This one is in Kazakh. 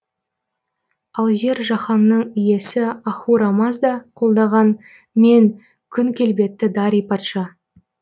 ал жер жаһанның иесі ахура мазда колдаған мен күн келбетті дарий патша